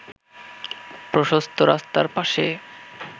প্রশস্ত রাস্তার পাশে